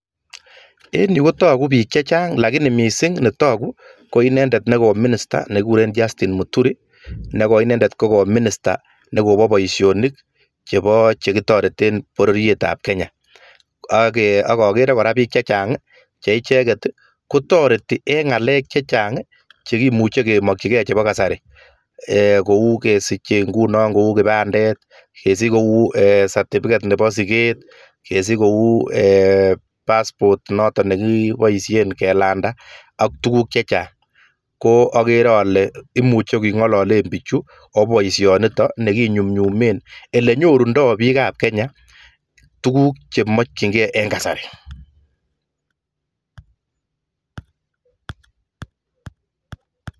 En yu kotoku biik chechang alakini netoku mising netoku ko inendet neko minister nekikuren Justine Muturi, neko inendet koko minister nebo boisionik chebo che kitoreten pororietab Kenya. Ak kakeere kora biik chechang che icheket kotereti eng ngalek chechang chekimuche kemakchikei chebo kasari kou kesiche nguno kou kipandet, kesich kou certificate nebo siket, kesich kou passport noton nekipoishen kelanda ak tuguuk chechang. Ko akeere kole imuche kong'ilalen biichu kobo boisionito nekinyumnyume ole nyorundoi biikab Kenya tuguuk chemkchinkei en kasari.